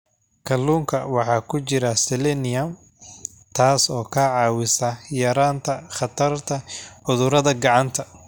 Kalluunka waxaa ku jira selenium, taas oo ka caawisa yaraynta khatarta cudurada gacanta.